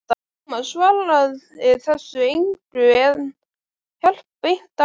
Tómas svaraði þessu engu, en hélt beint áfram